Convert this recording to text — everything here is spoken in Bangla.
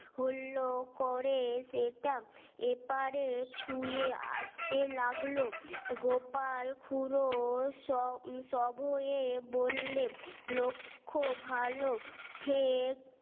হলো করে সেটা এপারে ছুঁয়ে আসতে লাগলো গোপালখুড়ো সব সব হয়ে বললে লক্ষ্য ভালো